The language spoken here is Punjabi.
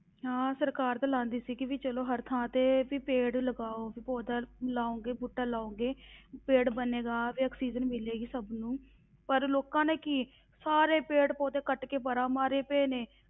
ਹਾਂ ਸਰਕਾਰ ਤਾਂ ਲਾਉਂਦੀ ਸੀ ਕਿ ਵੀ ਚਲੋ ਹਰ ਥਾਂ ਤੇ ਵੀ ਪੇੜ ਲਗਾਓ ਵੀ ਪੌਦਾ ਲਾਓਗੇ, ਬੂਟਾ ਲਾਓਗੇ ਪੇੜ ਬਣੇਗਾ ਵੀ ਆਕਸੀਜਨ ਮਿਲੇਗੀ ਸਭ ਨੂੰ, ਪਰ ਲੋਕਾਂ ਨੇ ਕੀ ਸਾਰੇ ਪੇੜ ਪੌਦੇ ਕੱਟ ਕੇ ਪਰਾਂ ਮਾਰੇ ਪਏ ਨੇ,